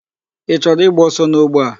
Ị chọrọ ịgba ọsọ n'ogbe a?